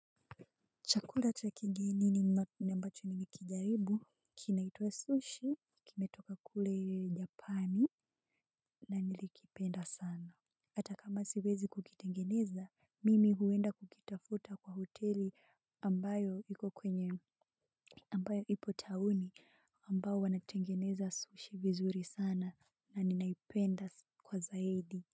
Chakula cha kigeni ambacho nimekijaribu kinaitwa 'Sushi'. Kimetoka kule japani. Na nilikipenda sana, hata kama siwezi kukitengeneza, mimi huenda kukitafuta kwa hoteli ambayo ipo tauni. Ambayo wanatengeneza sushi vizuri sana na ninaipenda kwa zaidi.